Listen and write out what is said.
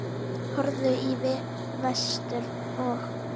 Horfðu í vestur og.